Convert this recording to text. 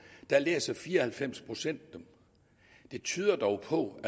læser fire og halvfems procent dem det tyder dog på